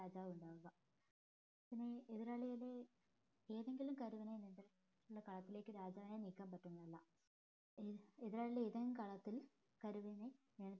രാജാവ് ഉണ്ടാവുക പിന്നെ എതിരാളികളെ ഏതെങ്കിലും കരുവിനെ ഉള്ള കാലത്തിലേക്ക് രാജാവിനെ നീക്കാൻ പറ്റുന്നതല്ല എതിരാളി ഏതെങ്കിലും കളത്തിൽ കരുവിനെ